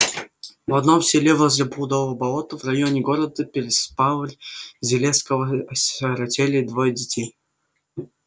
в одном селе возле блудова болота в районе города переславль-залесского осиротели двое детей